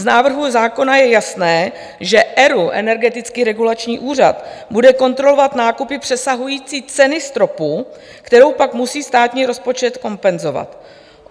Z návrhu zákona je jasné, že ERÚ, Energetický regulační úřad, bude kontrolovat nákupy přesahující cenu stropu, kterou pak musí státní rozpočet kompenzovat.